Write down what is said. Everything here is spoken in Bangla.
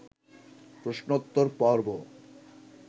প্রশ্নোত্তর-পর্ব